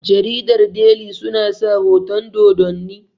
jaridar deli suna sa hoton Dodanni